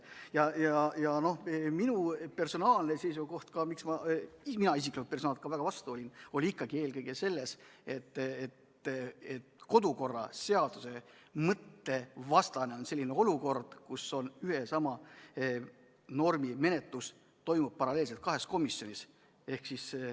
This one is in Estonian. Minu personaalne seisukoht, miks mina vastu olin, on ikkagi eelkõige see, et kodukorra seaduse mõtte vastane on selline olukord, kus ühe ja sama normi menetlus toimub paralleelselt kahes komisjonis.